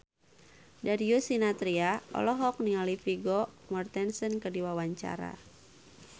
Darius Sinathrya olohok ningali Vigo Mortensen keur diwawancara